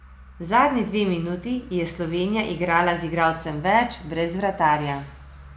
Zadnji dve minuti je Slovenija igrala z igralcem več brez vratarja.